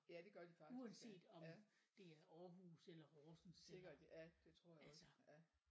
Ja det gør de faktisk ja ja. Sikkert ja det tror jeg også ja